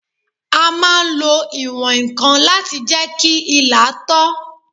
A máa n lo ìwọ̀n-ǹkan láti jẹ́ kí ilà tọ́